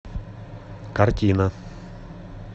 картина